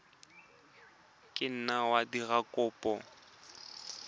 ka nna wa dira kopo